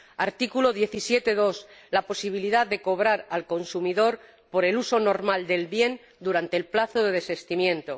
artículo 17, apartado 2, la posibilidad de cobrar al consumidor por el uso normal del bien durante el plazo de desestimiento